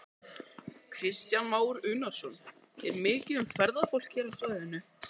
Kristján Már Unnarsson: Er mikið um ferðafólk hér á svæðinu?